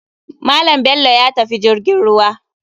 Malam bello yatafi jirgin ruwa.